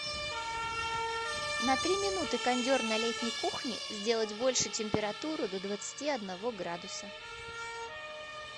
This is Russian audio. на три минуты кондер на летней кухне сделать больше температуру до двадцати одного градуса